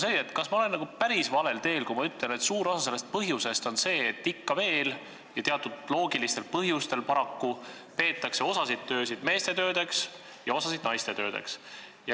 Aga kas ma olen päris valel teel, kui ma ütlen, et suur osa sellest põhjusest on see, et ikka veel – ja paraku teatud loogilistel põhjustel – peetakse osasid töösid meeste töödeks ja osasid naiste töödeks?